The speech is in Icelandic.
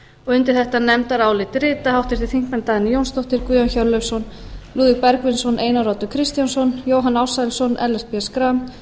undir þetta nefndarálit rita háttvirtir þingmenn dagný jónsdóttir guðjón hjörleifsson lúðvík bergvinsson einar oddur kristjánsson jóhann ársælsson ellert b schram